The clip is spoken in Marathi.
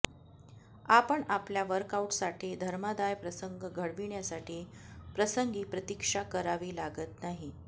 आपण आपल्या वर्कआउटसाठी धर्मादाय प्रसंग घडविण्यासाठी प्रसंगी प्रतीक्षा करावी लागत नाही